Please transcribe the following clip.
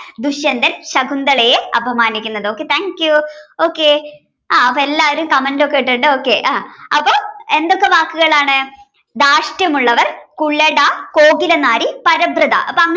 ദുഷ്യന്തൻ ശകുന്തളയെ അപമാനിക്കുന്നത് okay thank you okay അപ്പൊ എല്ലാരും comment ഒക്കെ ഇട്ടിട്ട് okay ആഹ് അപ്പൊ എന്തൊക്കെ വാക്കുകളാണ് ധാർഷ്ട്യമുള്ളവൾ കുലട കോകിലനാരി പരബ്രത അപ്പൊ ഇങ്ങനെ